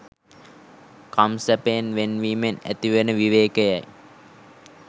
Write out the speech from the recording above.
කම් සැපයෙන් වෙන් වීමෙන් ඇතිවන විවේකයයි